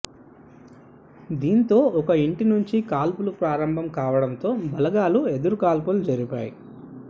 దీంతో ఒక ఇంటి నుంచి కాల్పులు ప్రారంభం కావడంతో బలగాలు ఎదురుకాల్పులు జరిపాయి